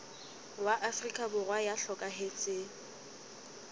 wa afrika borwa ya hlokahetseng